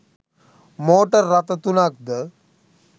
motor රථ තුනක් ද